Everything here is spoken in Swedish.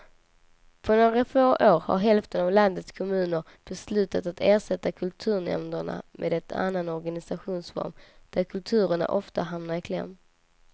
På några få år har hälften av landets kommuner beslutat att ersätta kulturnämnderna med en annan organisationsform där kulturen ofta hamnar i kläm.